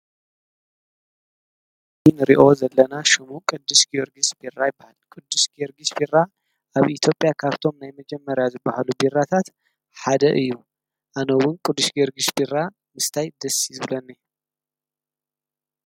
እንሪኦ ዘለና ሽሙ ቅዱስ ጀወርግስ ቢራ ይባሃል:: ቅዱስ ጀወርግስ ቢራ ኣብ ኢትዮጵያ ካብቶም ናይ መጀመር ዝባሃሉ ቢራታት ሓደ እዩ ኣነ ድማ ቅዱስ ጀውርግስ ቢራ ምስታይ ደስ እዩ ዝብለኒ::